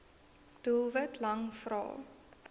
doelwit lang vrae